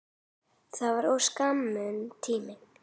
Það var of skammur tími.